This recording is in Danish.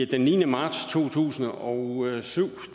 den niende marts to tusind og syv